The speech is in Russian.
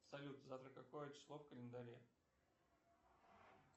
салют завтра какое число в календаре